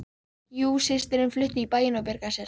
Jú systirin flutti í bæinn og bjargaði sér